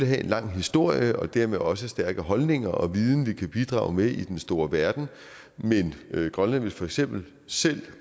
have en lang historie og dermed også stærke holdninger og viden vi kan bidrage med i den store verden men grønland vil for eksempel selv